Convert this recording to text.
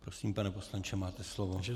Prosím, pane poslanče, máte slovo.